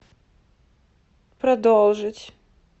продолжить